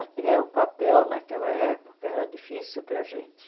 Até o papel naquela época era difícil para a gente.